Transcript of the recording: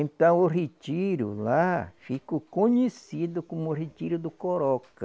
Então o retiro lá ficou conhecido como o retiro do Coroca.